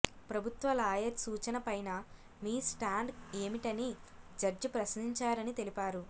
ప్రభుత్వ లాయర్ సూచన పైన మీ స్టాండ్ ఏమిటని జడ్జి ప్రశ్నించారని తెలిపారు